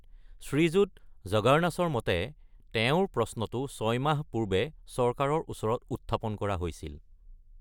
শ্ৰীযুত জৰ্গানাছৰ মতে, তেওঁৰ প্ৰশ্নটো ছয় মাহ পূৰ্বে চৰকাৰৰ ওচৰত উত্থাপন কৰা হৈছিল।